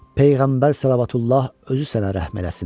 Peyğəmbər sələvatullah özü sənə rəhm eləsin.